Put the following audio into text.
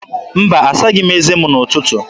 Mba, asaghị m eze m n'ụtụtụ.